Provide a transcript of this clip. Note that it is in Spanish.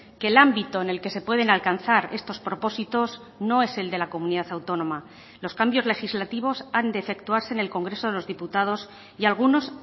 que el ámbito en el que se pueden alcanzar estos propósitos no es el de la comunidad autónoma los cambios legislativos han de efectuarse en el congreso de los diputados y algunos